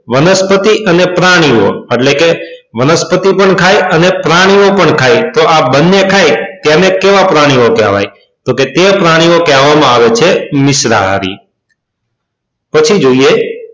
વનસ્પતિ અને પ્રાણીઓ એટલે કે વનસ્પતિ પણ ખાય અને પ્રાણીઓ પણ ખાય તેને કેવા પ્રાણીઓ કહેવાય તો કે તે પ્રાણીઓ કહેવા માં આવે છે મિશ્રાહારી પછી જોઈએ